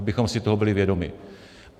Abychom si toho byli vědomi.